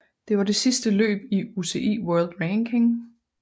Det var det sidste løb i UCI World Ranking